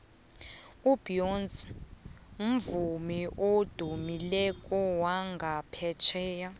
ubeyonce mvumi odumileko wangaphetjheya